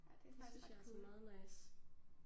Ja det er faktisk ret cool